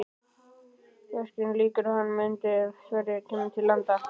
Verkinu lýkur í þann mund er Sverrir kemur til landa.